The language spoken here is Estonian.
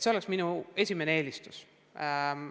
See oleks minu esimene eelistus.